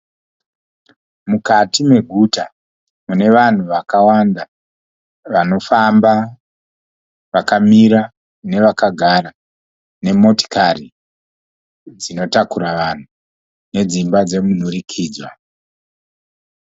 Mukati meguta mune vanhu vakawanda vanofamba, vakamira nevakagara nemotokari dzinotakura vanhu nedzimba dzomunhurikidzwa.